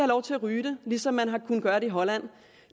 lov til at ryge det ligesom man har kunnet gøre det i holland